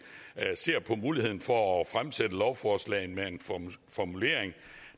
ser på muligheden for at fremsætte lovforslaget med en formulering